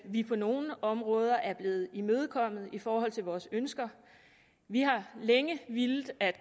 vi på nogle områder er blevet imødekommet i forhold til vores ønsker vi har længe villet at